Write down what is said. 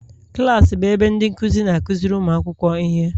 Klas bụ ebe ndị nkuzi na-akụziri ụmụ akwụkwọ ihe